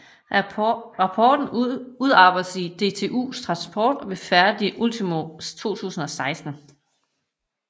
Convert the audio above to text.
Rapporten udarbejdedes af DTU Transport og blev færdig ultimo 2016